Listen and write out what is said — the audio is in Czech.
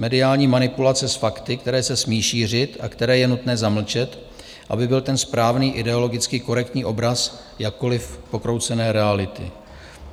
Mediální manipulace s fakty, které se smí šířit a které je nutné zamlčet, aby byl ten správný, ideologicky korektní obraz jakkoliv pokroucené reality.